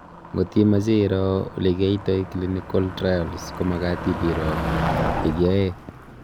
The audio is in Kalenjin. ngot imeche iro ole kiaitay clinical trials komagat ibiro ya kiae